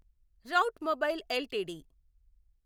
rate mobile LTD